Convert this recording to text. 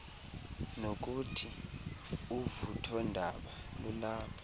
nokuthi uvuthondaba lulapha